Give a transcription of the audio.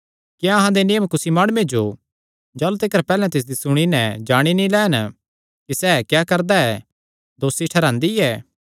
क्या अहां दे नियम कुसी माणुये जो जाह़लू तिकर पैहल्ले तिसदी सुणी नैं जाणी नीं लैन कि सैह़ क्या करदा ऐ दोसी ठैहरांदी ऐ